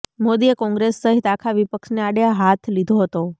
મોદીએ કોંગ્રેસ સહિત આખા વિપક્ષને આડે હાથ લીધો હતો